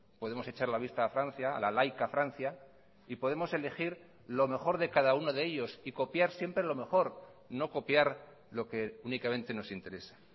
podemos echar la vista a francia a la laica francia y podemos elegir lo mejor de cada uno de ellos y copiar siempre lo mejor no copiar lo que únicamente nos interesa